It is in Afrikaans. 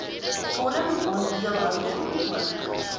vorm aandeelhouding ook